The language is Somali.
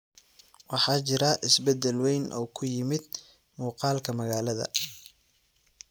Waxaa jira isbedel weyn oo ku yimid muuqaalka magaalada.